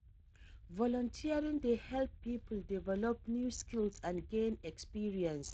Volunteering dey help people develop new skills and gain experience.